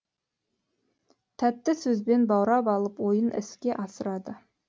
тәтті сөзбен баурап алып ойын іске асырады